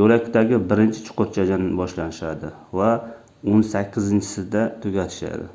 yoʻlakdagi birinchi chuqurchadan boshlashadi va oʻn sakkizinchisida tugatishadi